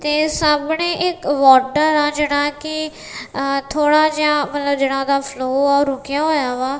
ਤੇ ਸਾਹਮਣੇ ਇੱਕ ਵਾਟਰ ਆ ਜਿਹੜਾ ਕਿ ਥੋੜਾ ਜਿਹਾ ਮਤਲਬ ਜੇੜਾ ਓਦਾਂ ਫਲੋ ਆ ਉਹ ਰੁਕਿਆ ਹੋਇਆ ਵਾ ।